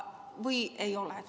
Või ei ole?